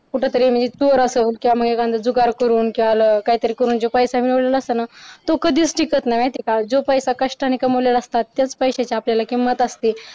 कुठे तरी म्हणजे चोर असल म्हणजे एखादा जुगार करून काही तरी करून जो पैसा मिळवलेला असताना तो कधीच टिकत नाही माहितीये का जो पैसा कष्टाने कमवलेल्या असतो त्याच पैशाची आपल्याला किंमत असते.